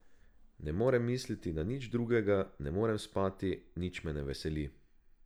Ne morem misliti na nič drugega, ne morem spati, nič me ne veseli.